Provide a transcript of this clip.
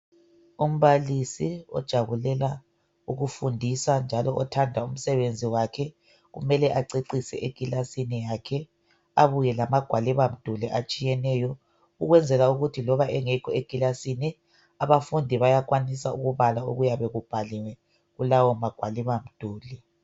Umbalisi ojabulela ukufundisa njalo othanda umsebenzi wakhe kumele acecise endlini yokufundela, abuye lamagwaliba mduli atshiyeneyo ukwenzela ukuthi loba engekho endlini yokufundela abafundi benelise ukubala kulawo magwaliba mduli